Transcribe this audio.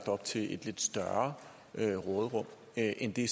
op til et større råderum end end det